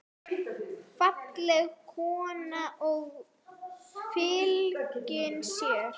Falleg kona og fylgin sér.